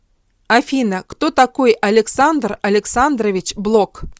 афина кто такой александр александрович блок